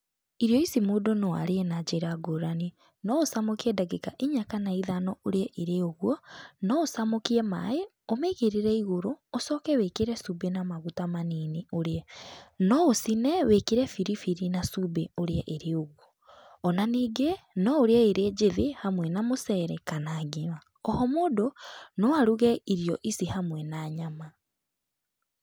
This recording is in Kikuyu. Irio ici mũndũ no arĩe na njĩra ngũrani. No ũcamũkie ndagĩka inya kana ithano ũrĩe irĩ ũgo, no ũcamũkie maĩ, ũmĩigĩrĩre igũrũ ũcoke wĩkĩre cuumbĩ na maguta manini ũrĩe. No ũcine wĩkĩre biribiri na cumbĩ ũrie ĩrĩ ũguo. Ona ningĩ, no ũrĩe ĩrĩ njĩthĩ hamwe na mũcere kana ngima. Oho mũndũ no aruge irio ici hamwe na nyama.